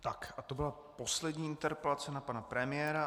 Tak a to byla poslední interpelace na pana premiéra.